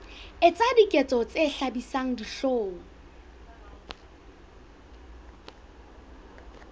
etsa diketso tse hlabisang dihlong